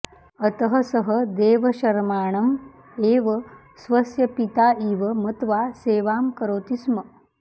अतः सः देवशर्माणं एव स्वस्य पिता इव मत्वा सेवां करोति स्म